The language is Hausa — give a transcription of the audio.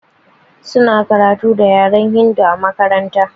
Suna karatu da yaren hindu a makaranta.